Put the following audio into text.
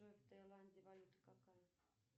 джой в таиланде валюта какая